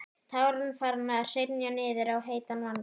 Tárin farin að hrynja niður á heita vanga.